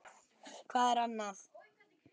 Já, hvað ertu annað?